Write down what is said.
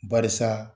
Barisa